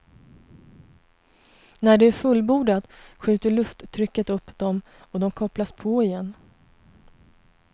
När det är fullbordat skjuter lufttrycket upp dem och de kopplas på igen.